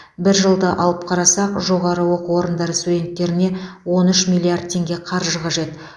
бір жылды алып қарасақ жоғарғы оқу орындары студенттеріне он үш миллиард теңге қаржы қажет